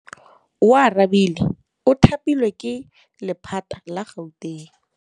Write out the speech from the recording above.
Oarabile o thapilwe ke lephata la Gauteng.